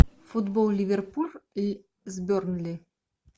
футбол ливерпуль с бернли